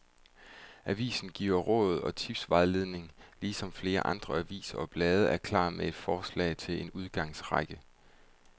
Avisen giver råd og tipsvejledning, ligesom flere andre aviser og blade er klar med et forslag til en udgangsrække.